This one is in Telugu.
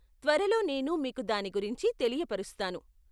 త్వరలో నేను మీకు దాని గురించి తెలియపరుస్తాను.